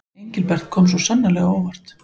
Engilbert kom svo sannarlega á óvart.